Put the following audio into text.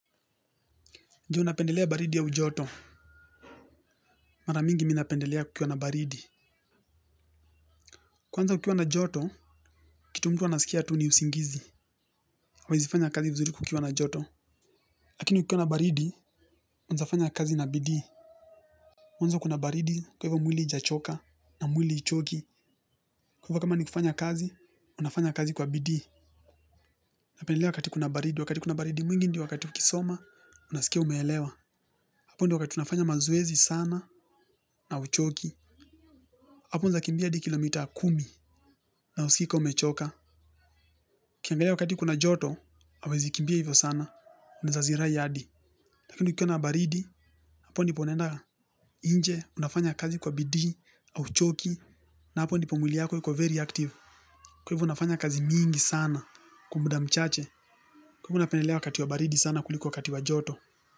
Ndio napendelea baridi au joto, mara nyingi mimi napendelea kukiwa na baridi. Kwanza kukiwa na joto, kitu mtu huwa nasikia tu ni usingizi. Huwezi fanya kazi vizuri kukiwa na joto. Lakini kukiwa na baridi, unaweza fanya kazi na bidii. Mwanzo kuna baridi kwa hivyo mwili haijachoka na mwili haichoki. Kwa hivyo kama ni kufanya kazi, unafanya kazi kwa bidii. Napendelea wakati kuna baridi. Wakati kuna baridi mwingi ndio wakati ukisoma, unasikia umeelewa. Hapo ndio wakati unafanya mazoezi sana na huchoki. Hapo unaweza kimbia hadi kilomita kumi na huskii kama umechoka ukiangalia wakati kuna joto huwezi kimbia hivyo sana unaweza zirai hadi lakini kukiwa baridi, hapo ndipo unaenda nje, unafanya kazi kwa bidii au huchoki. Na hapo ndipo mwili yako iko very active kwa hivyo unafanya kazi nyingi sana kwa muda chache kwa hivyo unapendelea wakati wa baridi sana kuliko wakati wa joto.